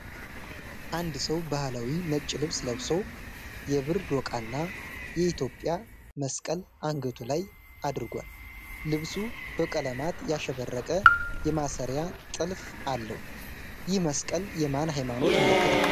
አንድ ሰው ባህላዊ ነጭ ልብስ ለብሶ፣ የብር ዶቃና የኢትዮጵያ መስቀል አንገቱ ላይ አድርጓል። ልብሱ በቀለማት ያሸበረቀ የማሰሪያ ጥልፍ አለው። ይህ መስቀል የማን ሃይማኖት ምልክት ነው?